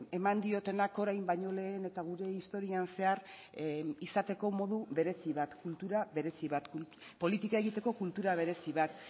eman diotenak orain baino lehen eta gure historian zehar izateko modu berezi bat kultura berezi bat politika egiteko kultura berezi bat